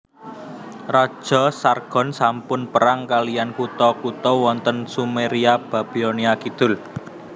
Raja Sargon sampun perang kaliyan kutha kutha wonten Sumeria Babilonia Kidul